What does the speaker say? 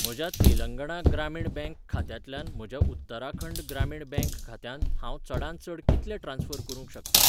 म्हज्या तेलंगणा ग्रामीण बँक खात्यांतल्यान म्हज्या उत्तराखंड ग्रामीण बँक खात्यांत हांव चडांत चड कितले ट्रान्स्फर करूंक शकतां?